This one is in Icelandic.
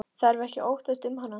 Þarf ekki að óttast um hana.